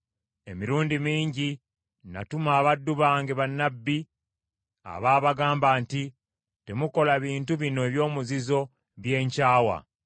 Emirundi mingi natuma abaddu bange bannabbi, abaabagamba nti, ‘Temukola bintu bino eby’omuzizo bye nkyawa!’